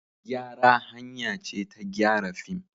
Gyara hanya ce ta gyara fim.